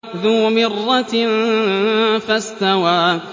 ذُو مِرَّةٍ فَاسْتَوَىٰ